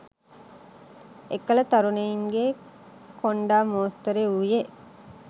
එකල තරුණයින්ගේ කොණ්ඩා මෝස්තරය වූයේ